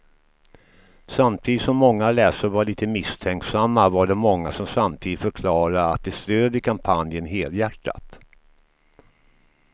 Samtidigt som många läsare var lite misstänksamma var det många som samtidigt förklarade att de stödjer kampanjen helhjärtat.